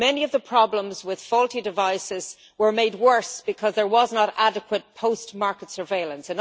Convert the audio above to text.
Many of the problems with faulty devices were made worse because there was not adequate post market surveillance.